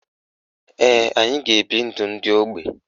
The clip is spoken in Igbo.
Ee, anyị ga-ebi ndụ ndị ógbè.